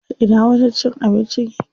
A ina wajen cin abincin yake?